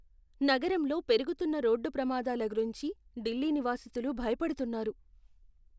నగరంలో పెరుగుతున్న రోడ్డు ప్రమాదాల గురించి ఢిల్లీ నివాసితులు భయపడుతున్నారు.